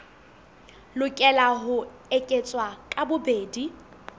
lokela ho eketswa ka bobedi